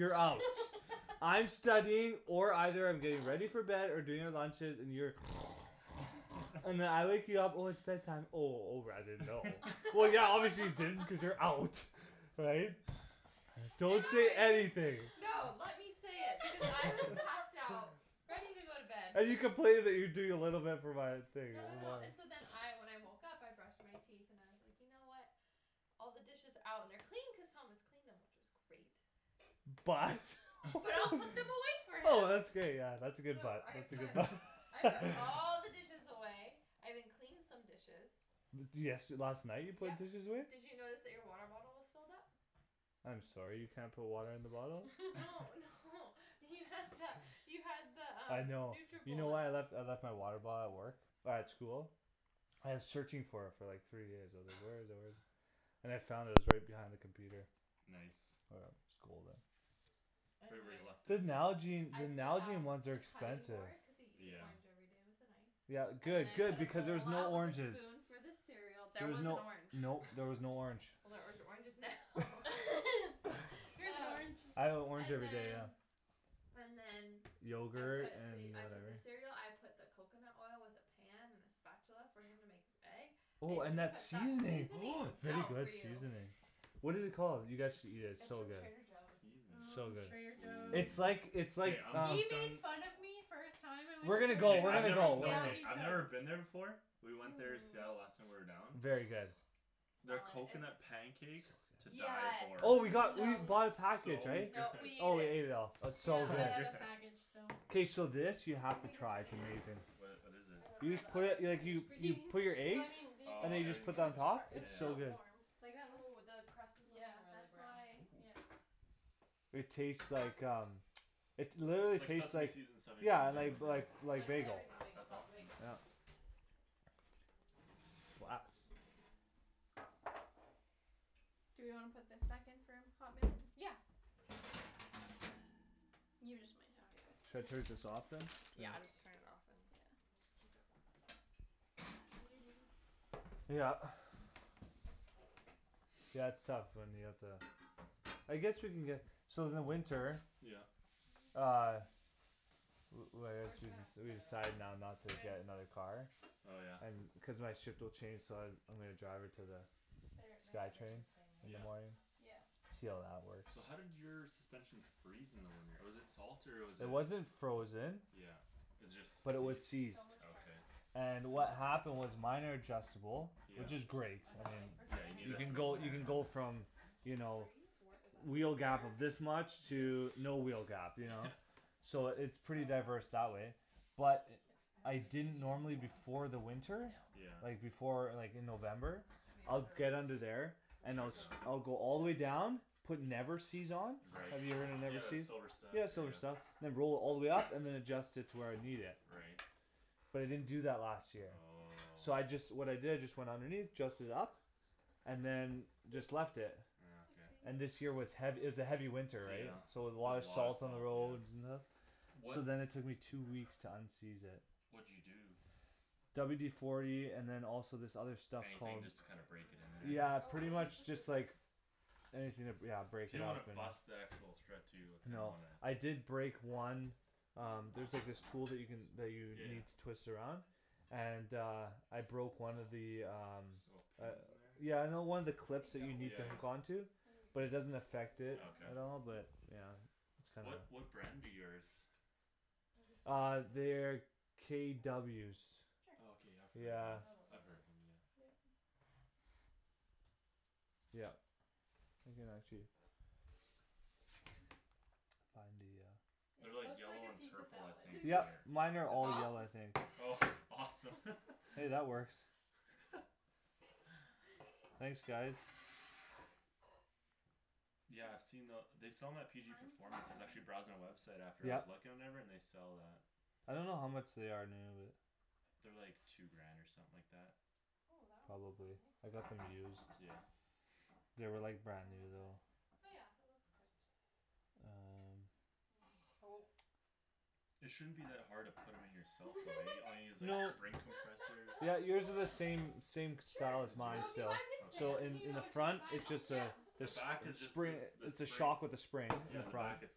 you're out I'm studying or either I'm getting ready aw for bed or doing the lunches and you're and then I wake you up when it's bed time oh oh r I didn't know well yeah obviously you didn't because you're out right? don't say anything no let me say it because I was passed out ready to go to bed and you complaining you doing no no no and so then I when I woke up I brushed my teeth and I was like you know what all the dishes out and they're clean cause Thomas cleaned them which was great but but I'll put them away for oh him that's great yeah that's a good so but I that's a good put but I put all the dishes away I even cleaned some dishes de- desh last night you put yup dishes away? did you notice that your water bottle was filled up? I'm sorry you can't put water in the bottle no no you had the you had the I um know you know what I Nutribullet left I left my water bottle at work at school I was searching for it for like three days I was like where is it where is it and I found it it was right behind the computer nice right where anyway you left it the Nalgene I the put Nalgene out ones are the cutting expensive board because he eats an yeah orange everyday with a knife yeah and then good I good put a because there's bowl no out with a oranges spoon for the cereal there there was was an no orange no there was no orange well there's oranges now here's an oh orange I have an orange and everyday yeah then and then I yogurt put the and I put the whatever cereal I put the coconut oil with the pan and the spatula for him to make his egg I oh and even that put that seasoning oh seasonings very out good for you seasoning what it called you guys should eat it it's it's so from good Trader Joe's seasoning so ooo good Trader it's like Joe's ooh it's okay like I'm um hooked on we're gonna go Okay we're I gonna go never we're no I've never been there before we went there in Seattle last hum time we were down very good oh their smell it it's coconut pancakes to die yeah for oh we it's got we bought a package so good no we oh ate we ate it it all it's yeah so so I have good good a package so k so this you do you have to think it's try its ready amazing now? wha- what is I it don't know you just the put other it like you you put your well eggs I mean do you and then think it you oh was just put that super on top it was it's yeah so still good warm yeah like that oh looks the crust is like yeah really that's brown why ooh yeah it taste like um it literally like tastes seaseme like seeds in bagel yeah yeah like like like like the bagel everything bagel that's without the awesome bagel yeah glass do we wanna put think back in for a hot minute? yeah should I turn just this off than yeah I'm just turn it off and just keep it yeah warm in there what are you doing? yeah yeah okay yeah it's tough when you have to I guess we can get so in the winter yeah uh li- li- like we're just excuse gonna me have to we we cut all in decided now there not to get when another car oh yeah cuz my shift will change so I I'm gonna drive her to the their they'd sky everything train the same way in the yeah morning right yeah see how that works so how did your suspension freeze in the winter was it salt or was it it wasn't frozen yeah was it but it was just seized seized okay and I know what happened was seriously minor adjustable yeah which is great I I had like mean firstly yeah I you had need you no it can for idea the go what Paul winter you was can talking go about from you suspension know freeze wheel gap of this much to yeah no wheel gap you know yeah so it's pretty so a diverse lot that of way cheese but yeah I I don't think they didn't needed normally more on before top the winter No yeah like before like in November I'd get under there and check I'll it sc- out I'll go all the way down put never-seez on right have you ever heard of yeah the never-seez? silver stuff yeah yeah silver yeah stuff all the way up and than adjust it to where I need it right but I didn't do that last year oh so I just what I did is just went underneath adjust it up what and is what it than is just it? left it just ah a okay and little this year cheese, was hea- it oh was a heavy yeah winter yeah so there was a lot of a lot of salt on the salt roads yeah and stuff so wha- then it took me two weeks to unseize it what'd you do? WD forty and than also this other stuff anything called just to kinda break it in there yeah oh pretty we'll use the much just like scissors anything to br- yeah break you it don't up wanna and bust the actual thread too you kinda no wanna I did break one um there's like this tool you can that you yeah need yeah to twist around and uh I balls broke my one of the um little gosh pins in uh there yeah no one of the is there clips any that you dough need with yeah to that hook yeah on to any but it doesn't affect it okay at all but yeah it's kinda what what brand do yours maybe three uh they're pieces for them KWs okay I've cuz heard of yeah I them know they'll I've eat it heard of them yeah yup you can actually find the uh it they're like looks like yellow a and pizza purple I salad think yup or mine are is all that off I think oh awesome hey that works thanks guys yeah I've seen the they sell them at PG kind performance I was actually browsing the website after I was yup looking and whatever and they sell that I don't know how much they are new but they're like two grant or something like that ooh that one came out probably nice I got them used yeah they were like brand how new is it? though oh yeah it looks good um oh it shouldn't be that hard to put em in yourself though right all you need is no like spring compressors yeah you would do the same same as sure as so mine yours if you buy this still so pan okay in you in know the which one to front buy it now. just uh yeah the jus- back is jus- just spring a the its a spring shock with a spring in yeah, the front back it's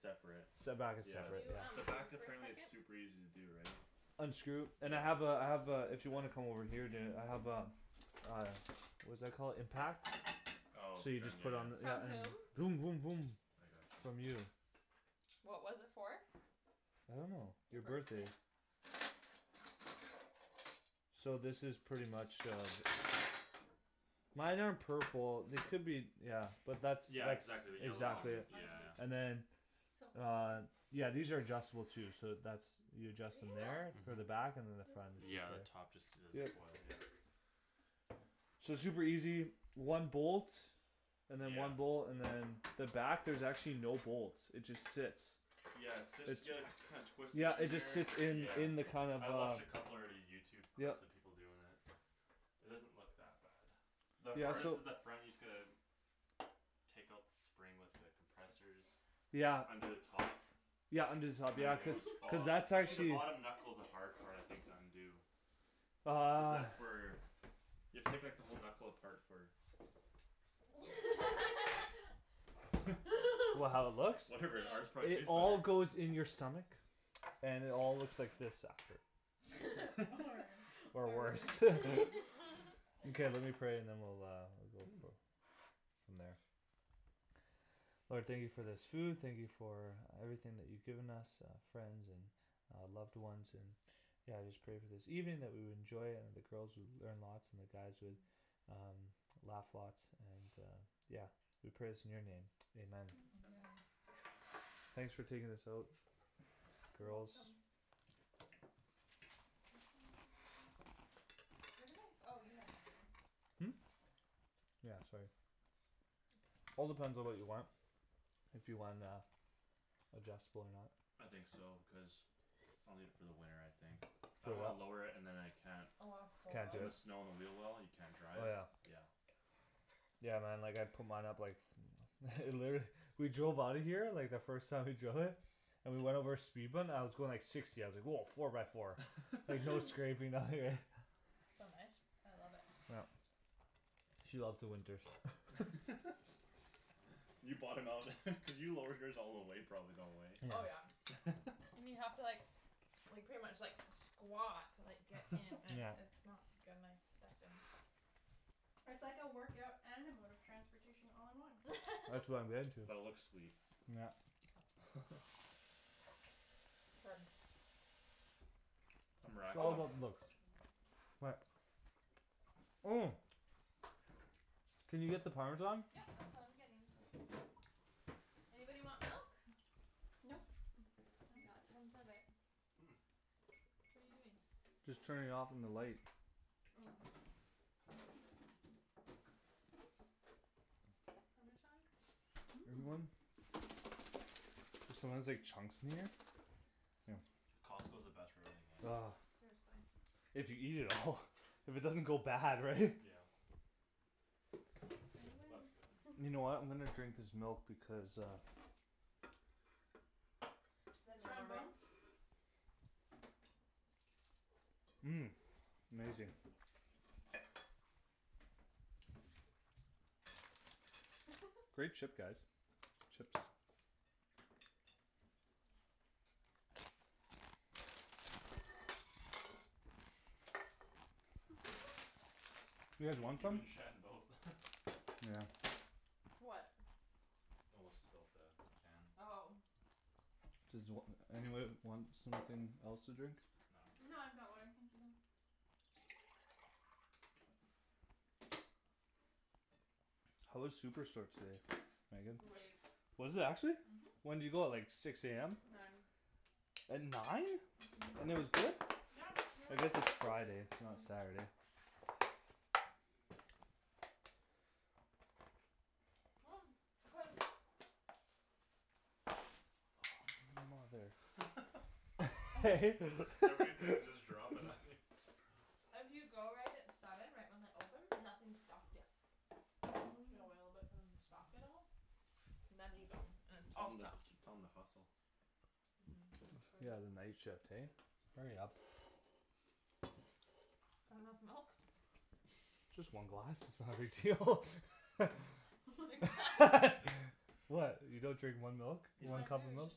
separate the back is yeah can separate you um the yeah back move for a apparently is second super easy to do right unscrew and I yeah have uh I have uh if you wanna come over here and do it I have a uh what's that called impact oh so you from just yeah put on the yeah from yeah um whom voom voom voom I got from you you what was it for? I don't know your your birthday birthday so this is pretty much uh mine are purple they could be yeah but that's yeah that's exactly the yellow oh one exactly it yeah ours is yeah and then on yeah these are adjustable too so that's you adjust them oh there for the thank uh-huh back and you than the front is yeah the just there top just does yep a coil yeah so it's super easy one bolt and than yeah one bolt and than the back there's actually no bolts it just sits yeah it sit it's yea- you kind twist it yeah in it just there sits in yeah in the kind of I watched a uh couple already Youtube yup clips of people doin' it it doesn't look that bad the yeah hardest so is the front you just gotta take out the spring with the compressors yeah under the top yeah under the top and than yeah everything cuz will just cuz follow that's actually the actually bottom knuckle's the hard part I think to undo cuz uh that's where you have to take like the whole knuckle apart for what how it looks? whatever ours no probably it tastes all better goes in your stomach and it all looks like this after or worse okay let me pray and then we'll go ooh for from there Lord thank you for this food thank you for everything that you given us uh friends and uh loved ones and yeah I just pray for this evening that we will enjoy and the girls would learn lots and the guys would um laugh lots and uh yeah we pray this in your name Amen amen thanks for taking this out girls where did my oh you have my phone hm yeah sorry all depends on what you want if you wan- uh adjustable or not I think so because I'll need it for the winter I think I throw don't wanna what lower it and than I can't can't do put the it snow on the wheel well and you can't drive oh yeah yeah yeah man like I'd put mine up like literally we drove outta here like the first time we drove it and we went over a speed bump and I was going like sixty I was like woah four by four like no scraping nothing right so nice I love it yup she loves the winters you bought him out cuz you lowered yours all the way probably eh oh yeah and you have to like like pretty much like squat to like get in and yeah it's not gonna I step in it's like a workout and a mode of transportation all in one that's what I'm getting to but it looks sweet yeah it's all about oh the looks what oh can you get the parmesan yep that's what I'm getting oh anybody want milk? nope we got tons of it hm what're you doing? just turning it off on the light oh parmesan mmm anyone? there's sometimes like chunks in there here Costco's the best for everything eh ah seriously if you eat it all if it doesn't go bad right yeah say oh that's good when you know what I'm gonna drink this milk because uh then we have strong more room bones mmm amazing great chip guys chips you guys you want you some? and Shan both yeah what spilt the can oh does wh- anybody want something else to drink? no No I'm I've good got water thank you though how was Superstore today Meagan? great was it actually mhm when'd you go like six am nine at nine uh-huh and it was good? yeah I guess it's Friday it's not uh- uh Saturday cuz oh mother I hate that everything just dropping on you if you go right at seven right when they open nothing's stocked yet you gotta wait a little bit hm for them to stock it all and then you go and it's tell all them stocked tell them to hustle uh-huh I should yeah the night shift hey hurry up that enough milk just one glass its not a big deal what you don't drink one milk? he's No one not I do cup of its milk just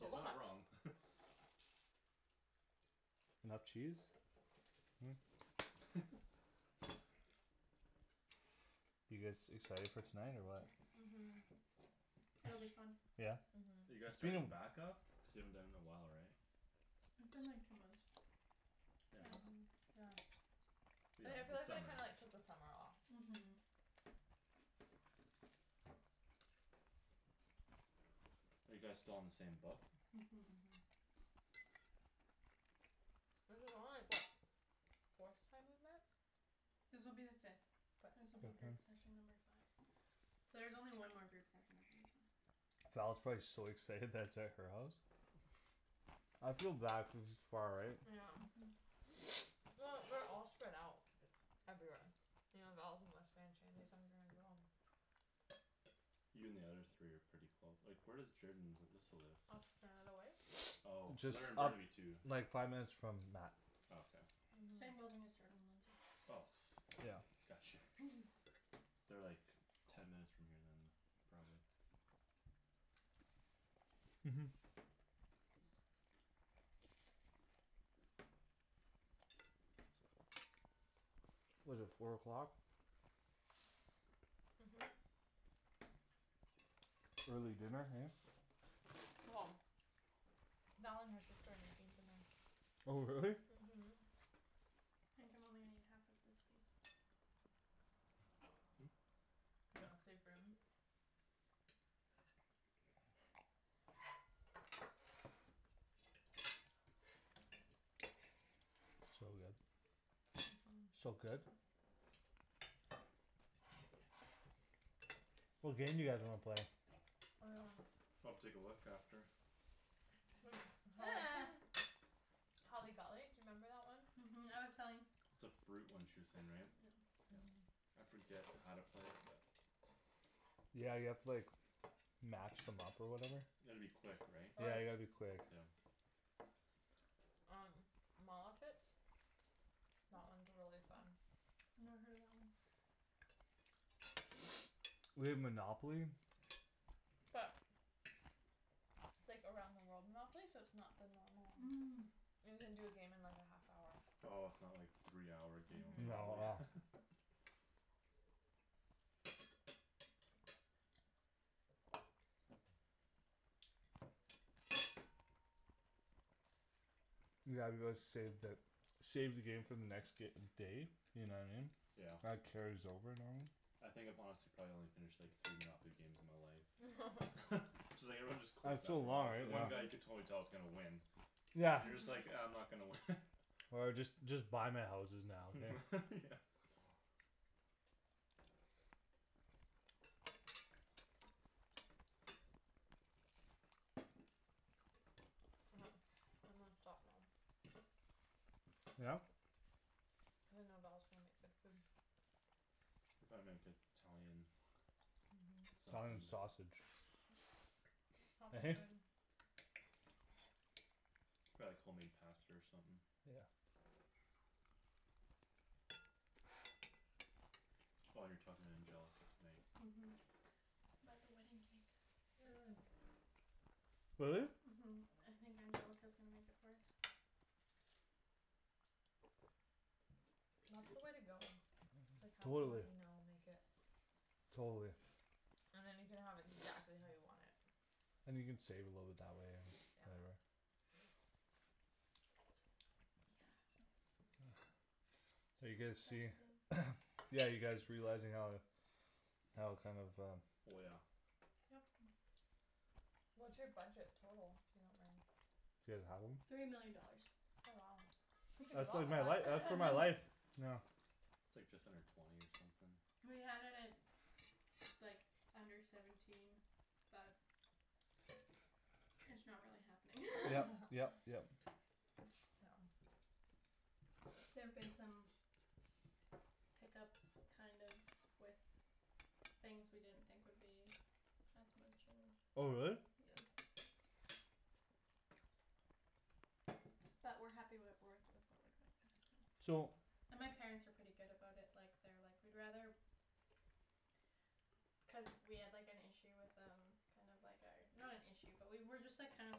a not lot wrong enough cheese huh you guys excited for tonight or what mhm It'll be fun yeah are uh-huh you guys its been a starting back-up cuz you haven't done it in a while right It's been like two months yeah hm um yeah yeah I yeah yeah feel the like I summer kinda like took the summer off mhm are you guys still on the same book uh-huh uh-huh this is only like what forth time we've met This will be the fifth fifth this will be uh-huh group session number five so there's only one more group session after this one Val's probably so excited that its at her house I feel bad cuz its far right yeah um uh-huh well we're all spread out everywhere you know Val's in West Van Shandy's on Grant we're all you and the other three are pretty close like where does Jorden and Alyssa live? off Canada Way oh so just they're in up Burnaby too like five minutes from Mat oh okay same uh-huh building as Jordan and Lindsay oh yeah got you they're like ten minutes from here than probably uh-huh what's it four o'clock uh-huh uh-huh early dinner hey well Val and her sister are making dinner oh really? uh-huh I think I'm only gonna eat half of this piece hm you know yeah save room so good uh-huh so good what game do you guys wanna play? I'll take a look after holly holly golly do you remember that one? uh-huh I was telling it's a fruit one she way saying right uh-huh yeah I forget how to play it but yeah you have to like match them up or whatever you gotta be quick right yeah or you gotta be quick yeah um mall outfits that one's really fun never heard of that one we have Monopoly but it's like around the world Monopoly so its not the normal um you can do a game in like a half hour oh its not like three hour game of no uh-huh Monopoly yeah, let's save the save the game for the next day you know what I mean yeah that carries over normally I think if I'm honest I've probably only finished like three Monopoly games in my life so like everyone just quits it's so after a long while because right one guy you yeah could uh-huh totally tell is gonna win yeah you're just like ah I'm uh-huh not gonna win or just just buy my houses now okay yeah I'm gonna stop now yeah cuz I know Val's gonna make good food they'll probably make it- Italian uh-huh Italian something sausage he - hey probably like home made pasta or something yeah oh you're talking to Angelica tonight uh-huh about the wedding cake uh really? uh-huh I think Angelica's gonna make it for us that's the way to go it's like have someone totally you know make it totally and then you can have exactly how you want it and you can save a little bit that way or whatever yeah so are you it's guys see expensive yeah you guys realizing how how kinda of um oh yeah yup what's your budget total if you don't mind do you guys have one? three million dollars oh wow you can do a that's lot like with my life uh that's uh my life that yeah its like just under twenty or something we had it at like under seventeen but it's not really happening yep yep yep yeah there've been some hiccups kind of with things we didn't think would be as much and oh really? yeah but we're happy with with what we're so and my parents are pretty good about it like they're like we'd rather cuz we had like an issue with um kinda like our not an issue but we were just like kinda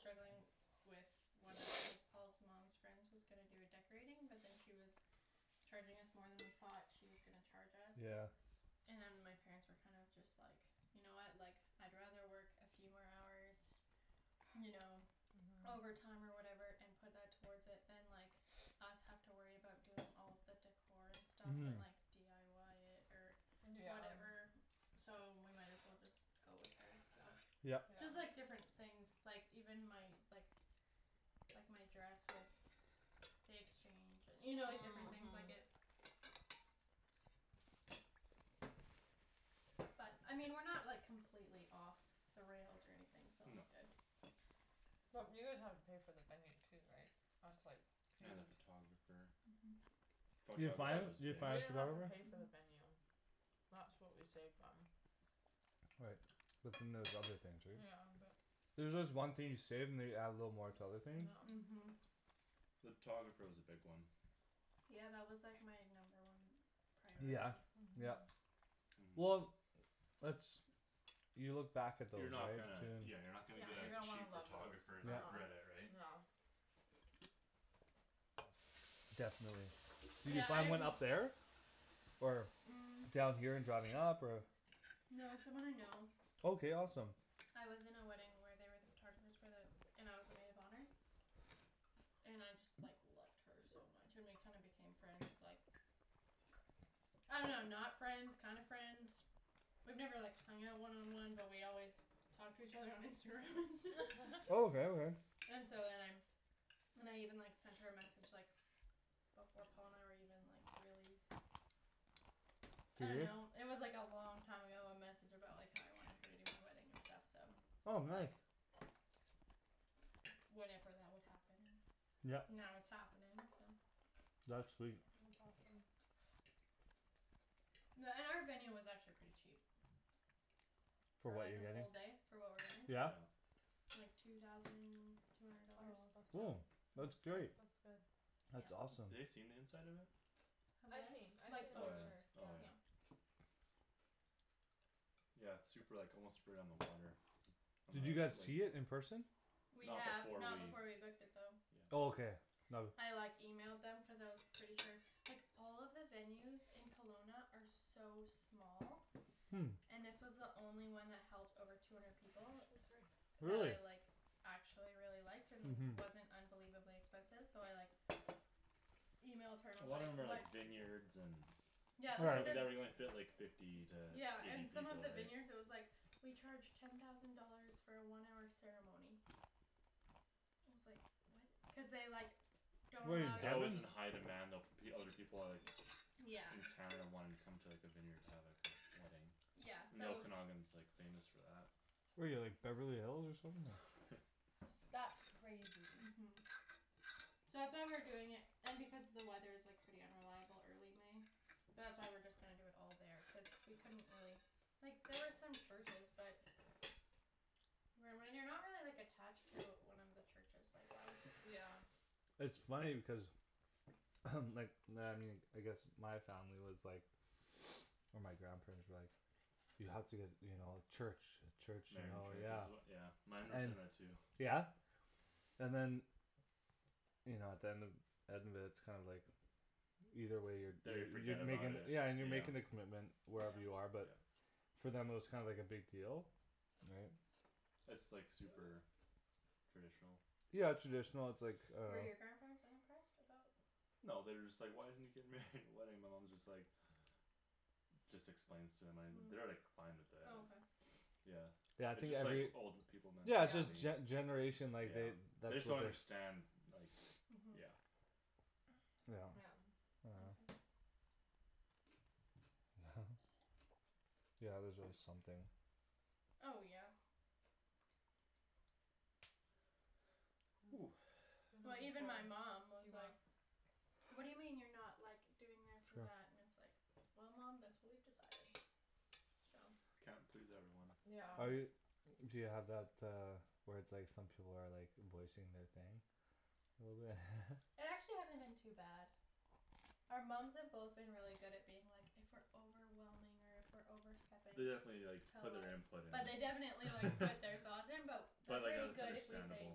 struggling with one of like Paul's mom's friend's was gonna do a decorating but then she was charging us more than we thought she was gonna charge yeah us and my parents were kind of just like you know what like I'd rather work a few more hours you know uh-huh overtime or whatever and put that towards it than like us have to worry about doing all the decor and stuff uh-huh and like dyi it or yeah whatever so we might as well just go with her so yup yeah just like different things like even my like like my dress with the exchange and you know different things like it uh-huh but I mean we're not like completely off the rails or anything so no that's good well you guys have to pay for the venue too right that's like huge and the photographer uh-huh photographer was big we didn't have to pay for the uh-huh venue that's what we saved on right but then there's other things right yeah but there's just one thing you save and they you add a little more to other things yeah uh-huh the photographer was a big one yeah that was like my number one yeah priority yeah uh-huh uh-huh well that's you look back at those you're not right gonna yeah you're too not gonna yeah get you're a gonna wanna cheap love those photographer uh- and uh yeah regret it right yeah definitely, did you yeah find I've one up there or, um down here and driving up or No it's someone I know okay awesome I was in a wedding where they were the photographers for the and I was the maid of honor and I just like loved her so much and we kinda became friends like I don't know not friends kinda friends we've never like hung out one on one but we always talk to each other on Instagram and stuff oh okay okay and so then I then I even like sent her a message like before Paul and I were even like really I don't serious know it was like a long time ago a message about like how I wanted her to do my wedding and stuff so oh like nice Whenever that would happen and yep now it's happening so that's sweet that's awesome Yeah and our venue was actually pretty cheap for for what like you're a getting, full day for what we're yeah yeah getting like two thousand two hundred oh dollars that's oh not yeah that's that's great that's good that's yeah awesome ha- they seen the inside of it Have they? I've seen I've seen Like the oh photos picture yeah yeah oh yeah yeah yeah its super like almost right on the water on the did you lake guys see it in person? we not have before we not before we booked it though yeah oh okay no- I like emailed them cuz I was pretty sure like all of the venues in Kelowna are so small hm and this was the only one that held over two hundred people oh sorry that I really like actually really liked and uh-huh wasn't unbelievably expensive so I like emailed her a and was lot of them like are what like vineyards and yeah so they like the fit like fifty to yeah and eight some of people all the right vineyards it was like we charge ten thousand dollars for a one hour ceremony and I was like what cuz they like don't wait allow they're that alway you was in to high demand though fo- other people are like yeah in Canada wanting to come to like a vineyard to have like a wedding yeah and so the Okanagan's like famous for that where you like Beverly Hills or something that's crazy uh-huh so that's why we're doing it and because the weather is like pretty unreliable early May but that's why we're just gonna do it all there cuz we couldn't really like there was some churches but when when you're not really like attached to one of he churches like why yeah it's funny because like I guess my family was like or my grandparents were like you have to get you know church a church you married in know church is yeah as yeah mine were and saying that too yeah and than you know at the end end of it its kinda like either way you're da- they you're forget you're about making it yeah and you're yeah making the commitment yeah wherever you are but yeah for them it was kinda like a big deal right its like super traditional yeah traditional its like uh Were your grandparents unimpressed about no they're just like why isn't he getting married in a wedding my mom is just like just explains to them an- they're like hm fine with oh it okay yeah yeah I its think just like every old people yeah its just mentality yeah gene- generation like they yeah they that's just don't what their understand like uh-huh yeah yeah yeah yeah yeah there's always something oh yeah ooh even well even my before mom was do you want like whad do you mean you're not like doing this or sure that and it's like well mom thats what we've decided so can't please everyone yeah yeah are you do you have that uh where its like some people are like voicing their thing a little bit It actually hasn't been too bad our moms have both been really good at being like if we're overwhelming or if we're overstepping they definitely like tell put their us input in but they definitely like put their thoughts in but but they're like yeah pretty there's good if we say understandable